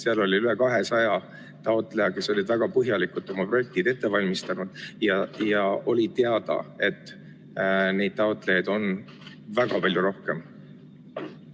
Seal oli üle 200 taotleja, kes olid väga põhjalikult oma projektid ette valmistanud, ja oli teada, et taotlejaid on väga palju rohkem.